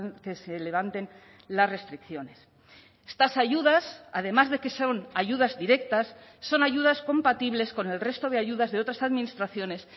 que se levanten las restricciones estas ayudas además de que son ayudas directas son ayudas compatibles con el resto de ayudas de otras administraciones